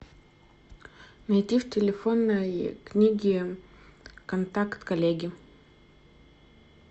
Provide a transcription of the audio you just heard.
найди в телефонной книге контакт коллеги